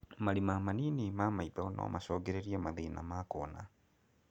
Marima manini ma maitho no macũngĩrĩrie mathĩna ma kuona